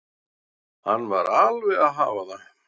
Hann var alveg að hafa það.